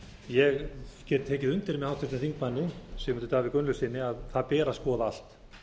ég get tekið undir með háttvirtum þingmanni sigmundi davíð gunnlaugssyni að það ber að skoða allt